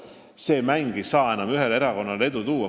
See mäng ei saa enam ühele erakonnale edu tuua.